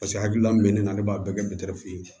Paseke hakilina bɛ ne na ne b'a bɛɛ kɛ fu ye